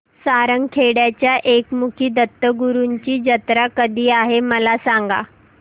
सारंगखेड्याच्या एकमुखी दत्तगुरूंची जत्रा कधी आहे मला सांगा